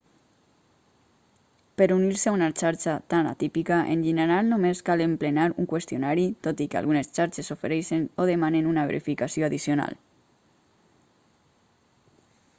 per unir-se a una xarxa tan atípica en general només cal emplenar un qüestionari tot i que algunes xarxes ofereixen o demanen una verificació addicional